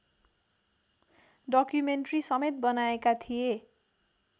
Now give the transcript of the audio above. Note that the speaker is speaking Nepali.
डकुमेन्ट्रीसमेत बनाएका थिए